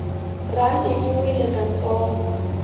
rhandi yi wile ka ntsongo